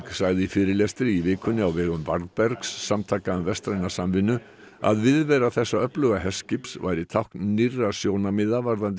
sagði í fyrirlestri í vikunni á vegum varðbergs samtaka um vestræna samvinnu að viðvera þessa öfluga herskips væri tákn nýrra sjónarmiða varðandi